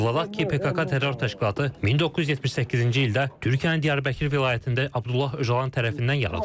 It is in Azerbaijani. Xatırladaq ki, PKK terror təşkilatı 1978-ci ildə Türkiyənin Diyarbəkir vilayətində Abdullah Öcalan tərəfindən yaradılıb.